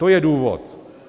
To je důvod.